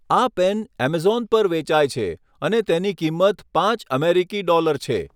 આ pen Amazon પર વેચાય છે અને તેની કિંમત પાંચ અમેરિકી ડોલર છે.